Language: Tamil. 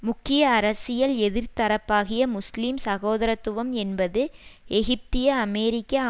முக்கிய அரசியல் எதிர்த்தரப்பாகிய முஸ்லிம் சகோதரத்துவம் என்பது எகிப்திய அமெரிக்க